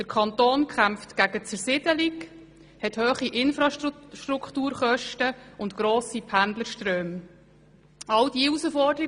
Der Kanton kämpft gegen Zersiedelung, hat hohe Infrastrukturkosten, grosse Pendlerströme und so weiter.